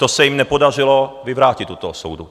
To se jim nepodařilo vyvrátit u toho soudu.